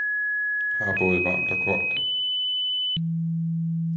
Her er både varmt og koldt.